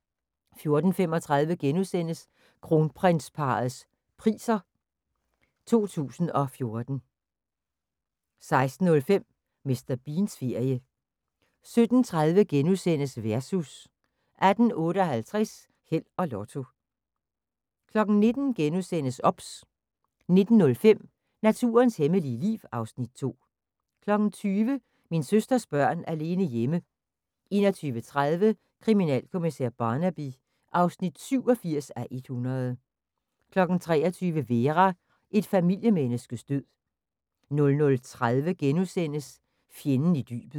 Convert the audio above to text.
14:35: Kronprinsparrets Priser 2014 * 16:05: Mr. Beans ferie 17:30: Versus * 18:58: Held og Lotto 19:00: OBS * 19:05: Naturens hemmelige liv (Afs. 2) 20:00: Min søsters børn alene hjemme 21:30: Kriminalkommissær Barnaby (87:100) 23:00: Vera: Et familiemenneskes død 00:30: Fjenden i dybet *